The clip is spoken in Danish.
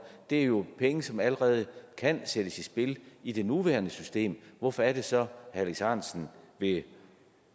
det er jo penge som allerede kan sættes i spil i det nuværende system hvorfor er det så at herre alex ahrendtsen vil